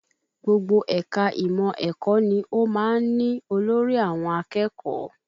Gbogbo ẹ̀ka ìmọ̀ ẹ̀kọ́ ni ó máa ń ní olórí àwọn akẹ́kọ̀ọ́